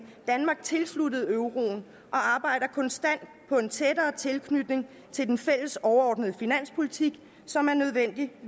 danmark tilsluttet euroen og arbejder konstant på en tættere tilknytning til den fælles overordnede finanspolitik som er nødvendig at